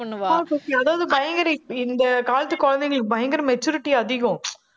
ஆஹ் கோக்கி அதாவது பயங்கர இந்~ இந்த காலத்து குழந்தைங்களுக்கு பயங்கர maturity அதிகம்